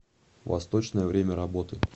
восточное время работы